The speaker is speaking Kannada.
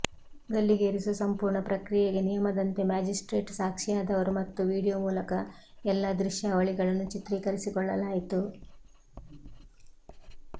ಗಲ್ಲಿಗೇರಿಸುವ ಸಂಪೂರ್ಣ ಪ್ರಕ್ರಿಯೆಗೆ ನಿಯಮದಂತೆ ಮ್ಯಾಜಿಸ್ಟ್ರೇಟ್ ಸಾಕ್ಷಿಯಾದರು ಮತ್ತು ವೀಡಿಯೊ ಮೂಲಕ ಎಲ್ಲ ದೃಶ್ಯಾವಳಿಗಳನ್ನು ಚಿತ್ರೀಕರಿಸಿಕೊಳ್ಳಲಾಯಿತು